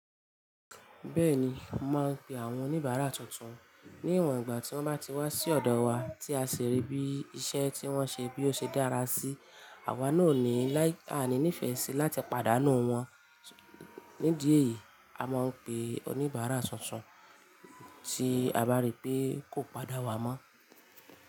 Bẹ́ẹ̀ni, mo máa ń pe àwọn oníbàárà tuntun ní ìwọ̀n ìgbà tí wọ́n bá ti wá sí ọ̀dọ̀ wa tí a ṣe rí bí iṣẹ́ tí wọ́n ṣe bí ó ṣe dára sí, àwa náà ò ní láì à ní nífẹ̀ẹ́ sí láti pàdánù wọ́n. Ní idí eyìí, a máa ń pe oníbàárà tuntun tí a bá rí pé kò padà wá mọ́